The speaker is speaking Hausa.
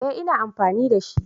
Eh ina amfani da shi